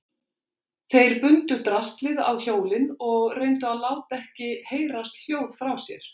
Þeir bundu draslið á hjólin og reyndu að láta ekki heyrast hljóð frá sér.